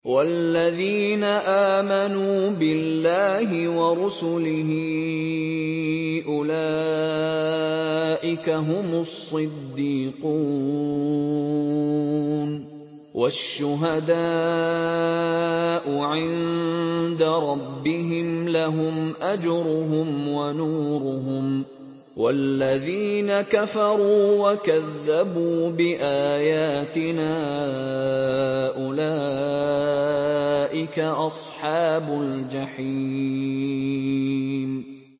وَالَّذِينَ آمَنُوا بِاللَّهِ وَرُسُلِهِ أُولَٰئِكَ هُمُ الصِّدِّيقُونَ ۖ وَالشُّهَدَاءُ عِندَ رَبِّهِمْ لَهُمْ أَجْرُهُمْ وَنُورُهُمْ ۖ وَالَّذِينَ كَفَرُوا وَكَذَّبُوا بِآيَاتِنَا أُولَٰئِكَ أَصْحَابُ الْجَحِيمِ